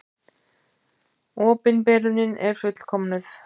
Opinberunin er fullkomnuð.